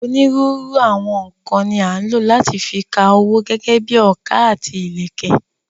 Onírúurú àwọn nǹkan ni à ń lò láti fi ka owó gẹ́gẹ́ bíi ọkà àti ìlẹ̀kẹ̀.